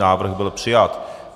Návrh byl přijat.